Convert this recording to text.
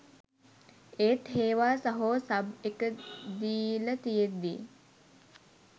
ඒත් හේවා සහෝ සබ් එක දීල තියෙද්දි